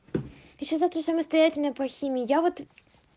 ещё завтра самостоятельная по химии я вот